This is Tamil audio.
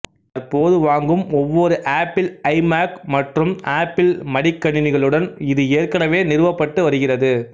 தற்போது வாங்கும் ஒவ்வொரு ஆப்பிள் ஐ மாக் மற்றும் ஆப்பிள் மடிக் கணணிகளுடனும் இது ஏற்கனவே நிறுவப்பட்டு வருகிறது